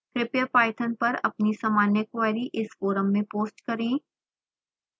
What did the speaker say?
कृपया पाइथन पर अपनी सामान्य क्वेरी इस फोरम में पोस्ट करें